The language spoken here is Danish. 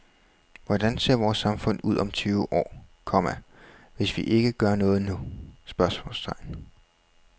Hvordan ser vores samfund ud om tyve år, komma hvis vi ikke gør noget nu? spørgsmålstegn